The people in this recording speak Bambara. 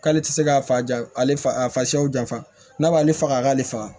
K'ale tɛ se k'a fa ja ale fa a fasaw jafa n'a b'ale faga a k'ale faga